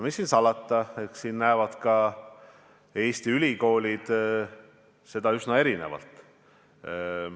Mis siin salata, eks Eesti ülikoolidki näevad seda üsna erinevalt.